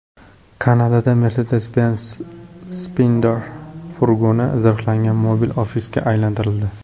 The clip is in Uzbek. Kanadada Mercedes-Benz Sprinter furgoni zirhlangan mobil ofisga aylantirildi .